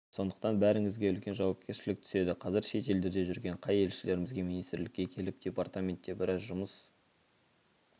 сондықтан бәріңізге үлкен жауапкершілік түседі қазір шет елдерде жүрген кей елшілерімізге министрлікке келіп департаментте біраз жұмыс